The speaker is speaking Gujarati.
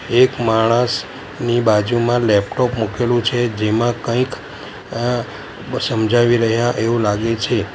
એક માણસ ની બાજુમાં લૅપટૉપ મૂકેલું છે જેમાં કંઈક અહ સમજાવી રહ્યા એવું લાગે છે.